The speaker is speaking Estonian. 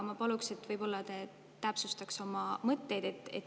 Ma palun, et te täpsustaksite oma mõtteid.